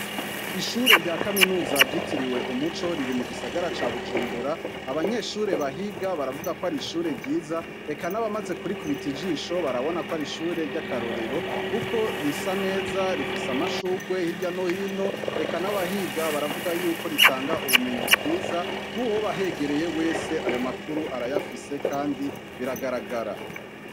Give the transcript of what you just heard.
Ishure rya kaminuza ryitiriwe umuco riri mugisagara ca bujumbura abanyeshure bahiga baravuga kwari ishure ryiza eka nabamaze kurikubita ijisho barabona kwarishure ryakarorero kuko risa neza rifise amashurwe hirya no hino eka nabahiga baravuga ko ritanga ubumenyi bwiza nuwoba ahegereye wese ayo makuru arayafise kandi biragarara